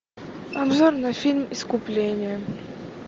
обзор на фильм искупление